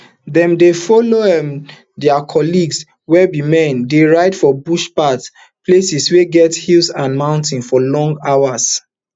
dem dey follow um dia um colleagues wey be men dey ride for bush paths places wey get hills and moutains for long hours